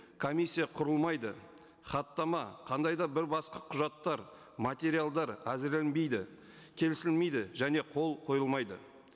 комиссия құрылмайды хаттама қандай да бір басқа құжаттар материалдар әзірленбейді келісілмейді және қол қойылмайды